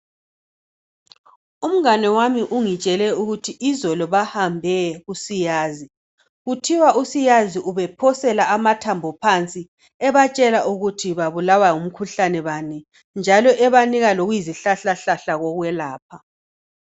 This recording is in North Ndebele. umngane wami ungitshele ukuthi izolo bahambe kusiyazi kuthiwa u siyazi ubephosela amathambo phansi ebatshenla ukuthi babulawa ngumkhuhlane bani njalo ebanika lokuyizihlahla kokuyelapha